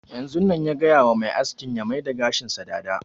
Yanzun nan ya gaya wa mai askin ya maida gashin sa dada